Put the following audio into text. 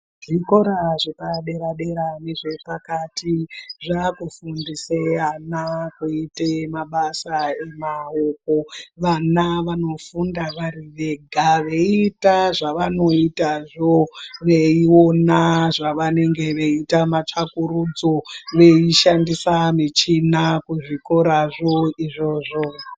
Zvikora zvepadera dera nezvepakati zvaakufundise ana kuite mabasa emaoko. Vana vanofunda vari vega veiita zvavanoitazvo veiona zvavanenge veiita matsvakurudzo veishandisa michina kuzvikorazvo izvozvo.